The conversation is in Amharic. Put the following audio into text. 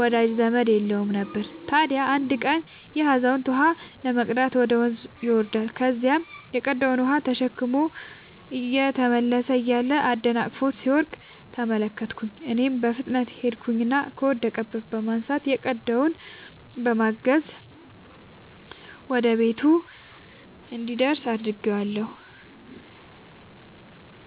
ወዳጅ ዘመድም የለውም ነበር። ታዲያ አንድ ቀን ይሄ አዛውንት ውሃ ለመቅዳት ወደ ወንዝ ይወርዳል። ከዚያም የቀዳውን ውሃ ተሸክሞ እየተመለሰ እያለ አደናቅፎት ሲወድቅ ተመለከትኩኝ እኔም በፍጥነት ሄድኩኝና ከወደቀበት በማንሳት የቀዳውንም በማገዝ ወደ ቤቱ እንዲደርስ አድርጌአለሁ።